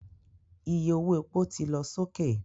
Iye owó epo ti lọ sókè